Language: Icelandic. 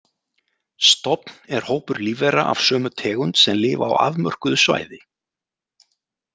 Stofn er hópur lífvera af sömu tegund sem lifa á afmörkuðu svæði.